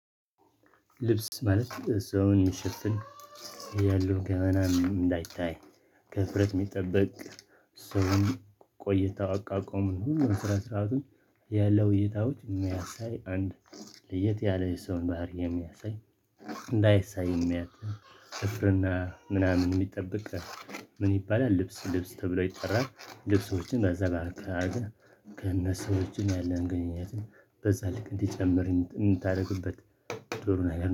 ልብስ ማለት ሰውን የሚሸፍን፣ ያሉ ገመናም እንዳይታይ፤ ከሀፍረት የሚጠበቅ፤ ስውን ቆይታ አቋቆሙን ሁሉም ስነ ስርዓቱን ያለው ሁኔታዎች የሚያሳይ፣ አንድ ለየት ያለ የሰውን ባህሪ የሚያሳይ እንዳይሳይ የሚያትም፤ እፍርና ምናምን የሚጠበቅ፣ ምን ይባላል ልብስ ልብስ ተብሎ ይጠራል። ልብሶችን በዘባበት ግን ከነሰዎችን ያለን ግንኙነትን በጸልቅ እንዲጨምር እንድታደርግበት ጥሩ ነው